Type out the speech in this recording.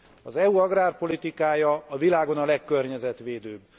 Az EU agrárpolitikája a világon a legkörnyezetvédőbb.